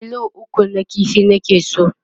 kilo 3 na ƙifi nake so